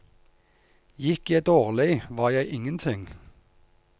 Gikk jeg dårlig, var jeg ingen ting.